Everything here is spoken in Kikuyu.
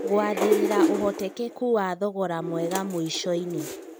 Gũathĩrira ũhotekeku wa thogora mwega mũicoinĩ